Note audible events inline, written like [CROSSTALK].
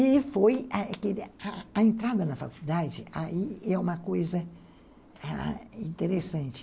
E foi [UNINTELLIGIBLE] a entrada na faculdade, aí é uma coisa interessante.